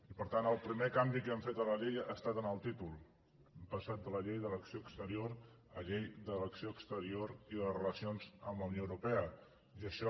i per tant el primer canvi que hem fet a la llei ha estat en el títol hem passat de llei de l’acció exterior a llei de l’acció exterior i de les relacions amb la unió europea i això